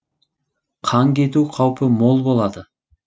қан кету қаупі мол болады